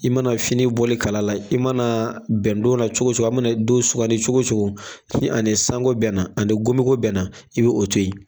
I mana fini bɔli kala la i mana bɛn don na cogoso a mana don sugandi ni ani sango bɛnna ani ngomiko bɛnna i bi o toyi.